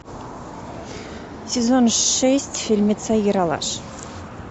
сезон шесть фильмеца ералаш